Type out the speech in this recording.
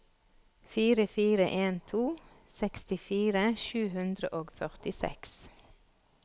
fire fire en to sekstifire sju hundre og førtiseks